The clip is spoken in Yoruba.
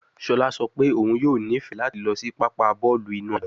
Shola sọ pe oun yoo nifẹ lati lọ si papa bọọlu inu agbọn